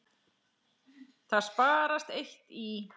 Það sparast eitt í.